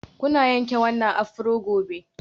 Kuna yanke wannan afro gobe.